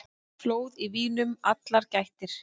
Flóð í vínum allar gættir.